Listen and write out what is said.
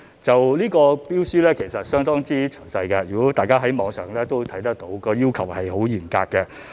有關標書其實相當詳細，大家可從網上看到有關要求十分嚴格。